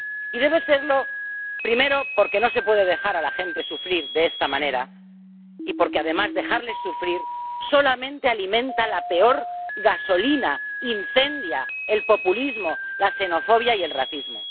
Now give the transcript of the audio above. Y debe serlo, primero, porque no se puede dejar a la gente sufrir de esta manera y porque, además, dejarles sufrir solamente alimenta la peor gasolina, incendia el populismo, la xenofobia y el racismo.